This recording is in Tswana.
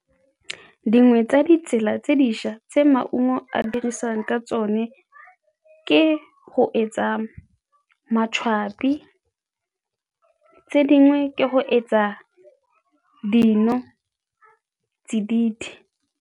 Dingwe tsa ditsela tse dišwa tse maungo a dirisiwang ka tsone ke go etsa be tse dingwe ke go etsa dinotsididi.